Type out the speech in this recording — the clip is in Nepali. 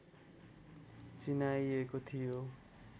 चिनाइएको थियो